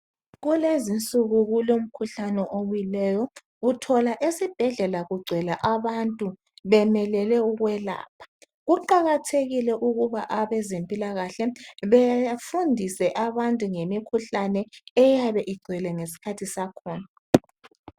Kulezi insuku kulomkhuhlane obuyileyo. Uthola esibhedlela kugcwele abantu bemelele ukwelapha. Kuqakathekile ukuba abezempilakahle befundise abantu ngemikhuhlane eyabe igcwele ngesikhathi sakhona.